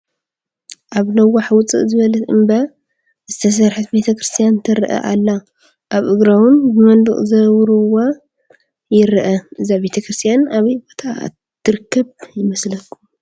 ኣብ ነዋሕ ውፅእ ዝበለት እምባ ዝተሰርሐት ቤተ ክርስትያን ትረአ ኣላ፡፡ ኣብ እግራ ውን ብመንድቅ ዘዉሩዋ ይረአ፡፡ እዛ ቤተ ክርስትያን ኣበይ ቦታ ትርከብ ይመስለኩም?